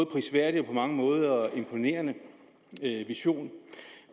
prisværdig og på mange måder imponerende vision